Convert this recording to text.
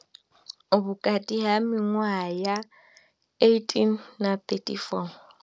Vhukati ha miṅwaha ya 18 na 34.